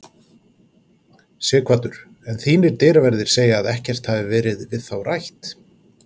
Sighvatur: En þínir dyraverðir segja að ekkert hafi verið við þá rætt?